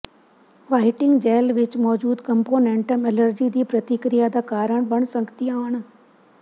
whiting gel ਵਿੱਚ ਮੌਜੂਦ components allergy ਦੀ ਪ੍ਰਤੀਕ੍ਰਿਆ ਦਾ ਕਾਰਨ ਬਣ ਸਕਦੀਆਂ ਹਨ